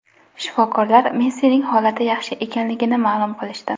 Shifokorlar Messining holati yaxshi ekanligini ma’lum qilishdi.